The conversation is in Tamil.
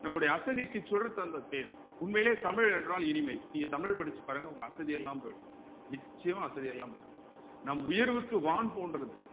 நம்முடைய அசதிக்கு சுடர் தந்த தேன் உண்மையிலயே தமிழ் என்றால் இனிமை நீங்க தமிழ் படிச்சு பாருங்க உங்க அசதி எல்லாம் போயிடும் நிச்சயமா அசதி எல்லாம் போயிடும் நம் உயர்வுக்கு வான் போன்றது